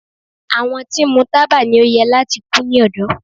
Àwọn tí ń mu taba ni o yẹ lati ku ni ọdọ